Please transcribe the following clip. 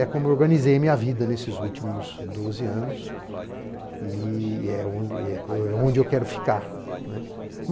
É como eu organizei a minha vida nesses últimos doze anos e é onde eu quero ficar.